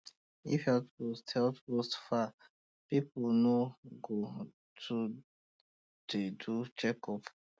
if health post health post far people no go too dey do checkup